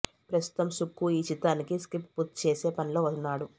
ప్రస్తుతం సుక్కు ఈ చిత్రానికి స్క్రిప్ట్ పూర్తి చేసే పనిలో వున్నాడు